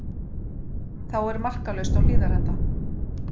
Þá er markalaust á Hlíðarenda